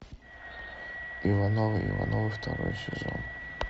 ивановы ивановы второй сезон